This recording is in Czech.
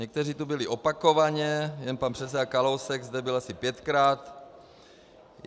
Někteří tu byli opakovaně, jen pan předseda Kalousek zde byl asi pětkrát.